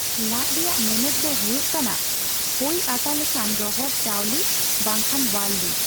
ᱞᱟᱡᱽᱼ ᱨᱮᱭᱟᱜ ᱢᱮᱱᱮᱫ ᱫᱚ ᱦᱳᱭᱳᱜ ᱠᱟᱱᱟ ᱠᱷᱳᱭ ᱟᱛᱟ ᱞᱮᱠᱟᱱ ᱨᱚᱦᱚᱲ ᱪᱟᱣᱞᱤ ᱵᱟᱝᱠᱷᱟᱱ ᱵᱟᱨᱞᱤ ᱾